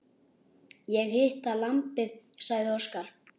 Ég hita lambið, sagði Óskar.